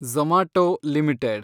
Zomato limited